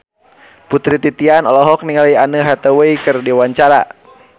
Putri Titian olohok ningali Anne Hathaway keur diwawancara